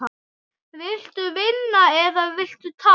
Viltu vinna eða viltu tapa?